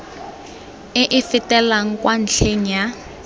e e fetelang kwa ntlheng